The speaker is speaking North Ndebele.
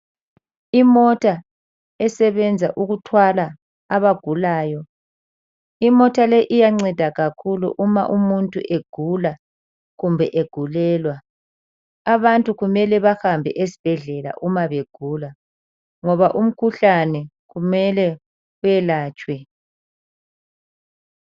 Imota esebenza ukuthwala abagulayo. Imota le iyanceda kakhulu uma umuntu egula kumbe egulelwa. Abantu kumele bahambe esibhedlela uma begula ngoba umkhuhlane kumele welatshwe.